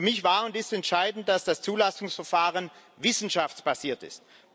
Für mich war und ist entscheidend, dass das Zulassungsverfahren wissenschaftsbasiert ist.